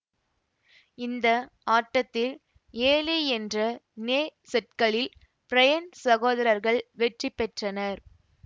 இந்த ஆட்டத்தில் ஏழு என்ற நேர் செட்களில் பிரையன் சகோதரர்கள் வெற்றி பெற்றனர்